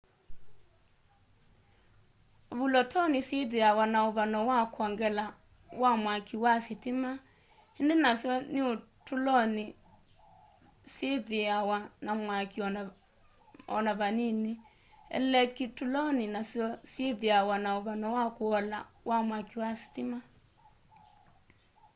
vulotoni syithiawa na uvano wa kwongela wa mwaki wa sitima indi nasyo niutuloni siyithiawa na mwaki ona vanini elekituloni nasyo syithiawa na uvano wa kuola wa mwaki wa sitima